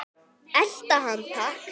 Elta hann takk!